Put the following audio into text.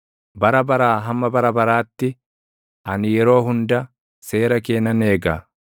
Bara baraa hamma bara baraatti, ani yeroo hunda seera kee nan eega.